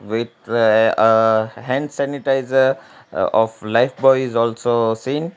uh hand sanitizer of lifebuoy is also seen.